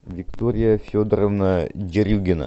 виктория федоровна дерюгина